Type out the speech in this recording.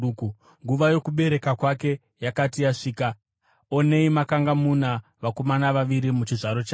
Nguva yokubereka kwake yakati yasvika, onei makanga muna vakomana vaviri muchizvaro chake.